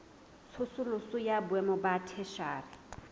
tsosoloso ya boemo ba theshiari